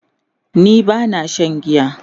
ni bana Shan giya